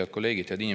Head kolleegid!